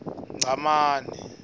ngcamane